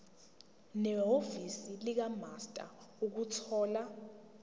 nehhovisi likamaster ukuthola